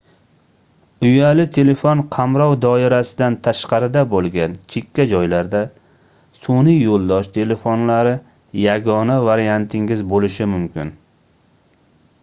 uyali telefon qamrov doirasidan tashqarida boʻlgan chekka joylarda sunʼiy yoʻldosh telefonlari yagona variantingiz boʻlishi mumkin